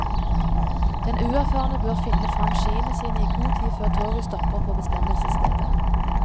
Den uerfarne bør finne frem skiene sine i god tid før toget stopper på bestemmelsesstedet.